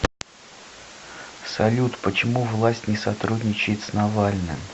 салют почему власть не сотрудничает с навальным